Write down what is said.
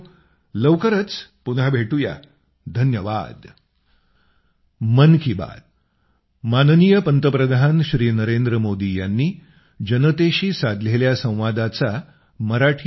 लवकरच पुन्हा भेटूया धन्यवाद